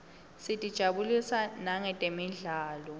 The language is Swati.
sitijabulisa nangetemidlalo